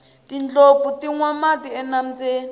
tindlopfu ti nwa mati enambyeni